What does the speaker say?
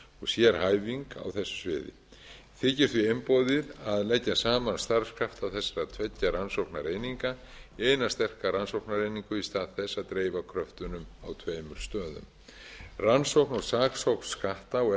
sérhæfing á þessu þykir því einboðið að leggja saman starfskrafta þessa tveggja rannsóknareininga eina sterka rannsóknareininga í stað þess að dreifa kröftunum á tveimur stöðum rannsókn og saksókn skatta og